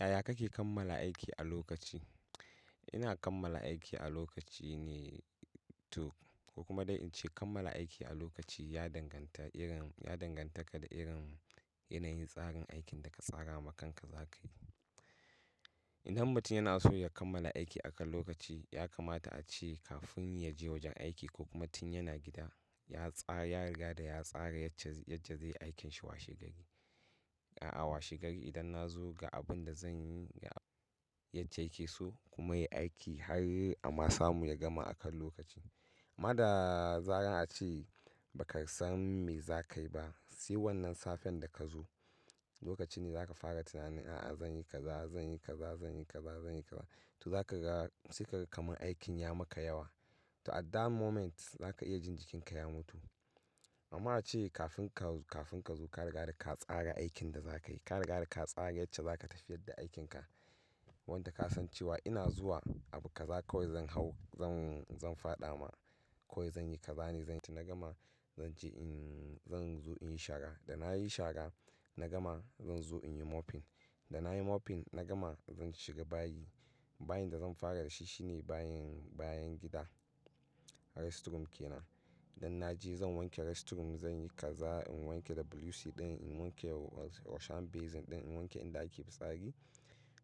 Yaya kake kammala aiki a lokaci? Ina kammala aiki a lokaci ne to ko kuma dai in ce kammala aiki a lokaci ya danganta irin, ya danganta da irin yanayin tsarin aikin da ka tsara ma kanka za ka yi. In har mutum yana so ya kammala aiki akan lokaci ya kamata a ce kafin ya je wajen aiki ko kuma tun yana gida ya tsara, ya riga da ya tsara yacce, yacca zai yi aikinsa washe gari. A'a washe gari idan na zo ga abun da zan yi yadda yake so kuma ya yi aiki har a ma samu ya gama akan lokaci. Amma da zaran a ce ba ka san me za ka yi ba, sai wannan safen da ka zo lokaci ne za ka fara tunanin, a'a zan yi kaza, zan yi kaza, zan yi kaza, zan yi kaza. To za ka ga sai ka ga kamar aikin ya maka yawa. To at that moment za ka iya jin jikinka ya mutu. Amma ana ce kafin ka, kafin ka zo ka riga da ka tsara aikin da za ka yi. Ka riga da ka tsara yadda za ka tafiyar da aikinka. Wanda ka san cewa ina zuwa abu ka za kawo zan hau, zan, zan faɗa ma, kawai zan yi kaza ne, zan ci na gama, zan je in, zan zo in yi shara. Da na yi shara na gama zan zo in yi mopping. Da na yi mopping na gama zan shiga bayi. Bayin da zan fara da shi shine bayin, bayan gida restroom ke nan. Dan na je zan wanke restroom, zan yi kaza in wanke da bleach ɗin, in wanke wash hand basin ɗin, in wanke inda ake fitsari.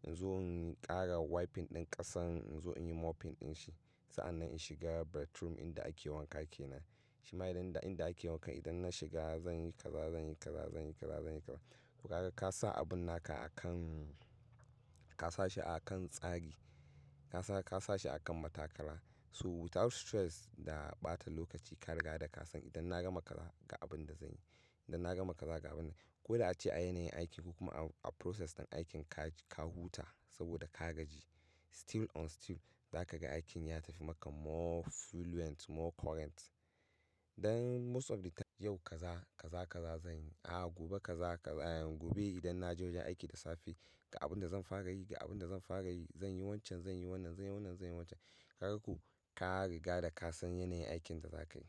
In zo in ƙara wiping ɗin ƙasan in zo in yi mopping ɗin shi. Sa'an nan in shiga bedroom inda ake wanka ke nan. Shima idan, inda ake wanka idan na shiga zan yi kaza, zan yi kaza, zan yi kaza, zan yi kaza. To ka ga ka sa abun naka akan, ka sa shi akan tsari. Ka sa, ka sa shi akan matakala. So without stress da ɓata lokaci ka riga da ka san idan na gama kaza ga abun da zan yi, idan na gama kaza ga abun da ko da a ce a yanayin aikinku kuma a, a process ɗin aikin ka, ka huta saboda ka gaji. Still on still za ka ga aikin ya tafi maka more fluent, more current. Dan most of the time yau kaza, kaza, kaza zan yi. A'a gobe kaza, kaza, gobe idan na je wajen aiki da safe ga abun da zan fara yi, ga abun da zan fara yi, zan yi wancan, zan yi wannan, zan yi wannan, zan yi wancan. Ka ga ko? Ka riga da ka san yanayin aikin da za ka yi.